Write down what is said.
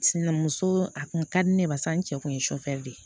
Sini muso a kun ka di ne ye barisa n cɛ kun ye de ye